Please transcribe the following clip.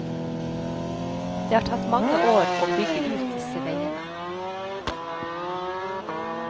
Det har tatt mange år å bygge ut disse veiene.